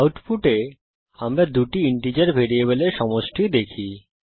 আউটপুটে আমরা দুটি ইন্টিজার ভ্যারিয়েবলের সমষ্টি দেখি